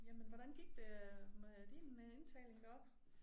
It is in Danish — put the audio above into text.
Jamen hvordan gik det øh med din indtaling deroppe?